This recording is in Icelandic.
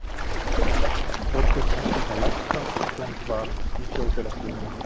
Þórgunnur næstum það lægsta sem komist varð í þjóðfélagsstiganum